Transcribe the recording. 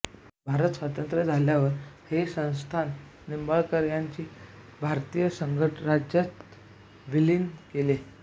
भारत स्वतंत्र झाल्यावर हे संस्थान निंबाळकर यांनी भारतीय संघराज्यात विलीन केले